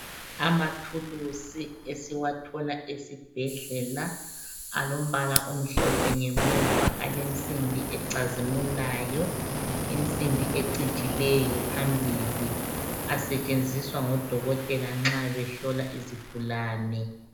Amathulusi esiwathola esibhedlela alombala omhlophe ngemuva .Alensimbi ecazimulayo .Insimbi ecijileyo phambili .Asetshenziswa ngodokotela nxa behlola izigulane.